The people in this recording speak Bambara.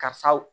Karisaw